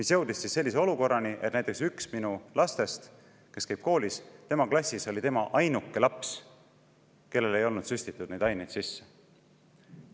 See jõudis sellise olukorrani, et näiteks ühe minu koolis käiva lapse klassis oli tema ainuke laps, kellele ei olnud süstitud neid aineid sisse.